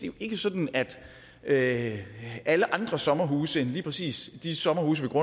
jo ikke sådan at at alle andre sommerhuse end lige præcis de sommerhuse